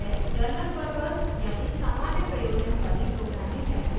यह जनरलपर्पस यानी सामान्य प्रयोजन वाली प्रोग्रामिंग लैंग्वेज है